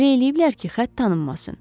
Belə eləyiblər ki, xətt tanınmasın.